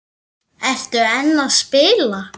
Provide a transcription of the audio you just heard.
Ertu enn að spila?